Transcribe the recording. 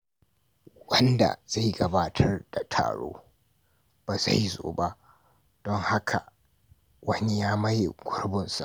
Wanda zai gabatar da taro bai zo ba, don haka wani ya maye gurbinsa.